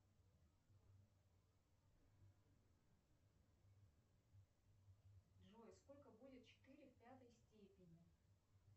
джой сколько будет четыре в пятой степени